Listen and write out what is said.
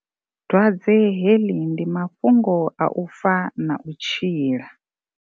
Dwadze heḽi ndi mafhungo a u fa na u tshila.